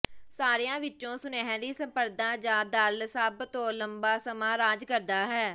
ਸਾਰਿਆਂ ਵਿਚੋਂ ਸੁਨਹਿਰੀ ਸੰਪਰਦਾ ਜਾਂ ਦਲ ਸਭ ਤੋਂ ਲੰਬਾ ਸਮਾਂ ਰਾਜ ਕਰਦਾ ਹੈ